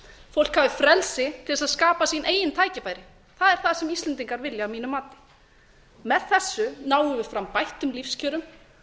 fólk hafi frelsi til að skapa sín eigin tækifæri það er það sem íslendingar vilja að mínu mati með þessu náum við fram bættum lífskjörum